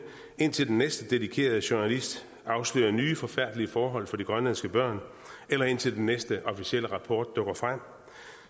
indtil den næste dedikerede journalist afslører nye forfærdelige forhold for de grønlandske børn eller indtil den næste officielle rapport dukker frem